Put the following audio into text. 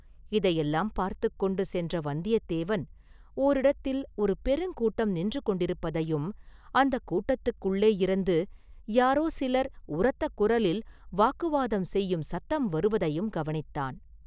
இதையெல்லாம் பார்த்துக் கொண்டு சென்ற வந்தியத்தேவன் ஓரிடத்தில் ஒரு பெருங்கூட்டம் நின்று கொண்டிருப்பதையும் அந்தக் கூட்டத்துக்குள்ளேயிருந்து யாரோ சிலர் உரத்த குரலில் வாக்குவாதம் செய்யும் சத்தம் வருவதையும் கவனித்தான்.